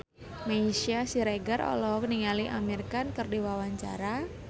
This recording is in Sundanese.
Meisya Siregar olohok ningali Amir Khan keur diwawancara